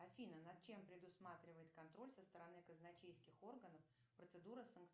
афина над чем предусматривает контроль со стороны казначейских органов процедура